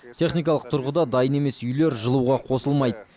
техникалық тұрғыда дайын емес үйлер жылуға қосылмайды